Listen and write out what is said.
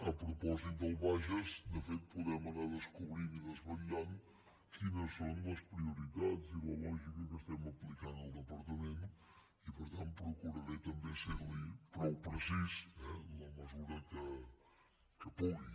a propòsit del bages de fet podem anar descobrint i desvetllant quines són les prioritats i la lògica que estem aplicant al departament i per tant procuraré també ser li prou precís eh en la mesura que pugui